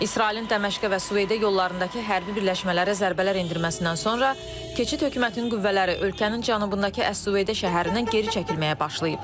İsrailin Dəməşqə və Süveyda yollarındakı hərbi birləşmələrə zərbələr endirməsindən sonra keçid hökumətinin qüvvələri ölkənin cənubundakı əs-Süveyda şəhərindən geri çəkilməyə başlayıb.